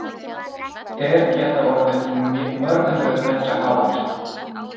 Þeir geta orðið mörg hundruð metra háir.